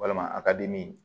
Walima a ka dimi